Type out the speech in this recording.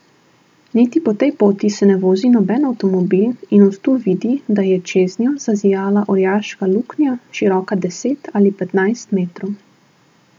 Niti po tej se ne vozi noben avtomobil in od tu vidi, da je čeznjo zazijala orjaška luknja, široka deset ali petnajst metrov.